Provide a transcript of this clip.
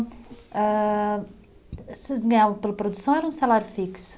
Âh, vocês ganhavam pela produção ou era um salário fixo?